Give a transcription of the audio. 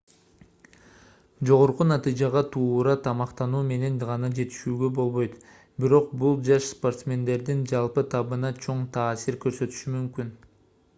жогорку натыйжага туура тамактануу менен гана жетүүгө болбойт бирок бул жаш спортсмендердин жалпы табына чоң таасир көрсөтүшү мүмкүн